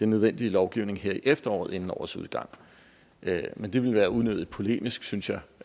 nødvendige lovgivning her i efteråret inden årets udgang men det ville være unødig polemisk synes jeg